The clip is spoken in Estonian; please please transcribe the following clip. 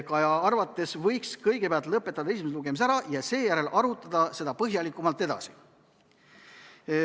Kaja arvates võiks kõigepealt lõpetada esimese lugemise ära ja seejärel arutada seda põhjalikumalt edasi.